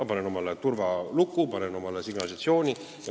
Ma panen uksele turvaluku, panen tööle signalisatsiooni.